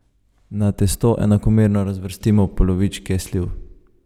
Na testo enakomerno razvrstimo polovičke sliv.